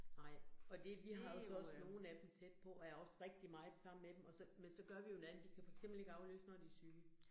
Nej, og det vi har altså nogle af dem tæt på, og er også rigtig meget sammen med dem, og så, men så gør vi jo så men, at vi kan jo for eksempel ikke aflyse, når de er syge